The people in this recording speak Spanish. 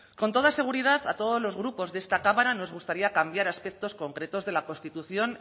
con toda seguridad a todos los grupos de esta cámara nos gustaría cambiar aspectos concretos de la constitución